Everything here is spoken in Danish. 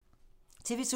TV 2